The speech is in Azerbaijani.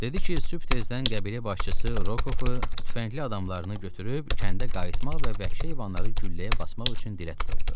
Dedi ki, sübh tezdən qəbilə başçısı Rokovu, tüfəngli adamlarını götürüb kəndə qayıtmaq və vəhşi heyvanları gülləyə basmaq üçün dilə tuturdu.